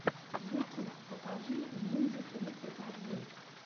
ютюб покажи винди тридцать один